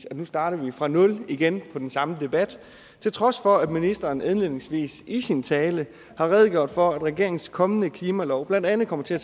at nu starter vi fra nul igen på den samme debat til trods for at ministeren indledningsvis i sin tale har redegjort for at regeringens kommende klimalov blandt andet kommer til at